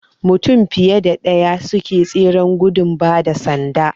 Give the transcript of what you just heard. Mutum fiye da ɗaya suke tseren gudun bada sanda